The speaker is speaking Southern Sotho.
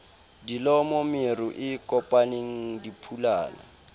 dilomo meru e kopaneng diphulana